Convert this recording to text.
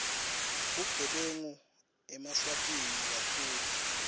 bugebengu eswatini kakhulu